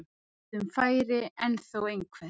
Lítið um færi en þó einhver.